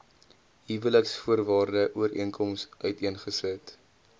huweliksvoorwaarde ooreenkoms uiteengesit